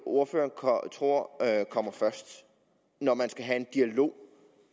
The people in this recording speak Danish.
ordføreren tror kommer først når man skal have en dialog